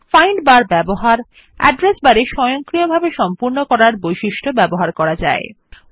এই টিউটোরিয়াল আমরা শিখব কিভাবে উসে করা হবে সন্ধান সার্চ ইঞ্জিন পরিচালনাএর ব্যবহার করা বার খোজা auto কম্পিট এর অ্যাড্রেস বার এ ব্যবহার